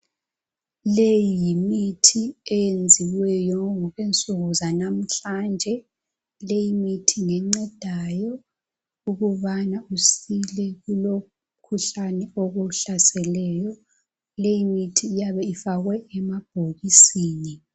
leyi yimithi eyenziweyo ngokwensuku zalamuhlanje leyi mithi ngencedayo ukubana usile kulowo mkhuhlane okuhlaseleyo leyi mithi iyabe ifakwe emabhokisini